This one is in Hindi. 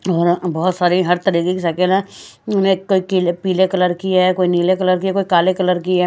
और बहुत सारी हर तरीके की साइकिल है कोई पीले कलर की है कोई नीले कलर की है कोई काले कलर की है।